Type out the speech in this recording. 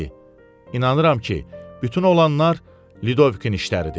İnanıram ki, bütün olanlar Ludovikin işləridir.